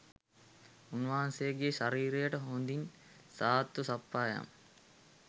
උන්වහන්සේගේ ශරීරයට හොඳින් සාත්තු සප්පායම්